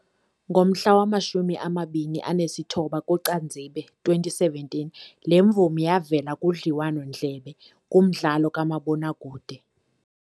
Ngomhla wama-29 kuCanzibe 2017 le mvumi yavela kudliwano-ndlebe kumdlalo kamabonakude we